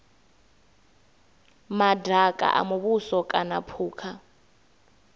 madaka a muvhuso kana phukha